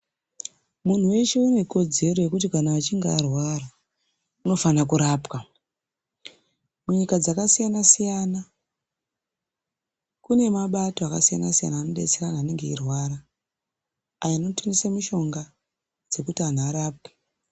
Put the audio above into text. Munhu weshe ane kodzero yekuti achunge arwara anofana kurapwa munyika dzakasiyana siyana mune mbatso akasiyana siyana anenge eirwara anotengesa mushonga kuti vantu varware.